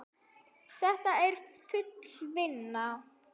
Þetta er full vinna!